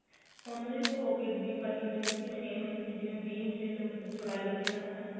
ਉਹਨਾ ਦੀ pocket ਦੀ cutting same ਜਿਵੇਂ ਵੀਹ ਇੰਚ ਚੋੜਾਈ ਰੱਖੀ ਨਾ ਆਪਾਂ ਨੇ